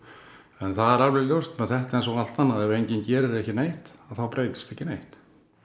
en það er alveg ljóst með þetta eins og allt annað að ef enginn gerir ekki neitt þá breytist ekki neitt